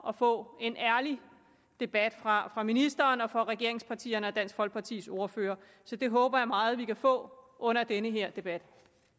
at få en ærlig debat fra ministeren og fra regeringspartiernes og dansk folkepartis ordførere så det håber jeg meget at vi kan få under den her debat